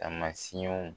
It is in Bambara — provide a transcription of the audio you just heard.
Taamasiyɛnw